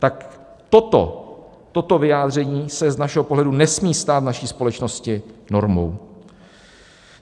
Tak toto vyjádření se z našeho pohledu nesmí stát v naší společnosti normou.